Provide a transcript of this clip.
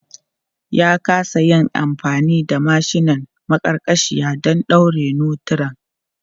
Ya kasa yin amfani da mashinan maƙarƙashiya don ɗaure notiran.